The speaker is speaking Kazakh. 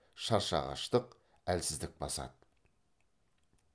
шаршағыштық әлсіздік басады